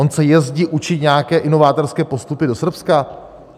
On se jezdí učit nějaké inovátorské postupy do Srbska?